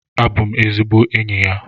Abụ m ezigbo enyi ya.